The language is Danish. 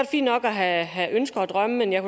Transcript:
fint nok at have ønsker og drømme men jeg